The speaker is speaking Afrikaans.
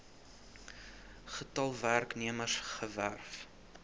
getal werknemers gewerf